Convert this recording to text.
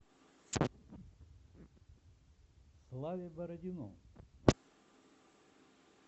славе бородину